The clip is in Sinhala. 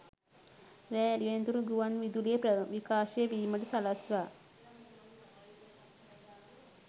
රෑ එළිවෙනතුරු ගුවන් විදුලියේ විකාශය වීමට සලස්වා